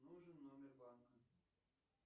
нужен номер банка